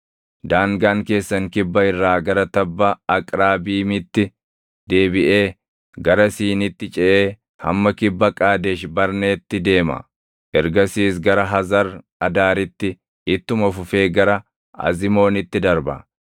daangaan keessan kibba irraa gara tabba Aqrabiimitti deebiʼee, gara Siinitti ceʼee hamma kibba Qaadesh Barneetti deema. Ergasiis gara Hazar Adaaritti ittuma fufee gara Azimoonitti darba.